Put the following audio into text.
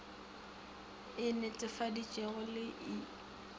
e netefaditšwego le i khiro